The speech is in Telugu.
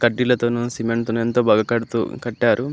సిమెంట్ తో ఎంత బాగా కడుతూ కట్టేరు.